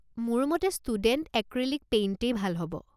মোৰ মতে student acrylic পেইণ্টেই ভাল হ'ব।